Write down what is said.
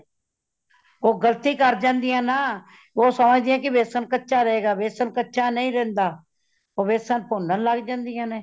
ਉਹ ਗ਼ਲਤੀ ਕਰ ਜਾਂਦੀਆਂ ਨਾ ਉਹ ਸੋਚਦਿਆਂ ਨੇ ਵੇਸਣ ਕੱਚਾ ਰਹੇਗਾ ਵੇਸਣ ਕੱਚਾ ਨਹੀਂ ਰਹਿੰਦਾ , ਉਹ ਵੇਸਣ ਭੁੰਨਣ ਲੱਗ ਪੈਂਦੀਆਂ ਨੇ